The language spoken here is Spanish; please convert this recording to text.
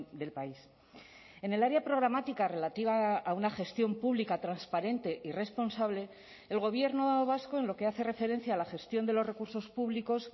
del país en el área programática relativa a una gestión pública transparente y responsable el gobierno vasco en lo que hace referencia a la gestión de los recursos públicos